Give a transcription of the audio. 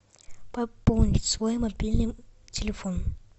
пополнить свой мобильный телефон